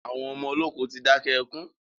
Àwọn ọmọ olókù tí dákẹ́ ẹkùn